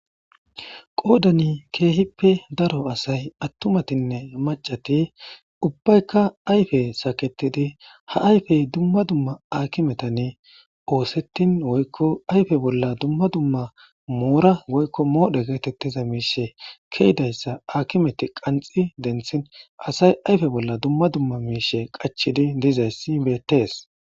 Qoodani keehippe daro asay attumatinne macati ubbaykka ayfe saketidi ha ayfey dumma dumma akimetanne oosettin woykko ayfe bolla dumma dumma moora woykko moodhe geetettiza miishe ke'idayssa aakimeti qanxi denthin asay ayfe bolla dumma dumma miishe qachidi dizayssi beettees.